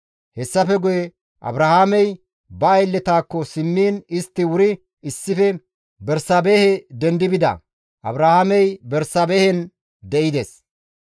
Hessafe guye Abrahaamey ba aylletakko simmiin istti wuri issife Bersaabehe dendi bida. Abrahaamey Bersaabehen de7ides.